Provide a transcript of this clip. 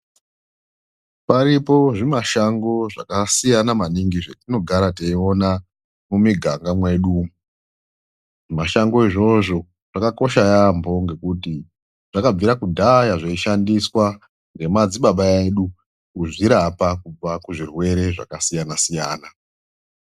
Paripo zvimashango zvakasiyana maningii zvatinogara teiona mumiganga mwedu umu. Zvimashango izvozvo zvakakosha yaamho ngekuti zvakabvira kudhaya zveishandiswa ngemadzibaba edu kuzvirapa kubva kuzvirwere zvakasiyana siyana.